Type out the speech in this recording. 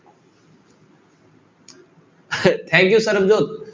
thank you Sarabjot.